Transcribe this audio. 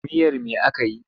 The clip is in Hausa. Miyar me aka yi?